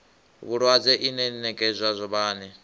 vhulwadze ine ya nekedzwa vhane